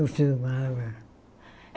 Eu filmava.